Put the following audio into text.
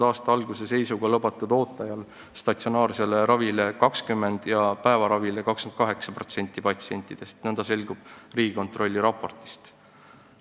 Aasta alguse seisuga ei olnud lubatud ooteajal statsionaarsele ravile saanud 20% ja päevaravile 28% patsientidest, nõnda selgub Riigikontrolli raportist.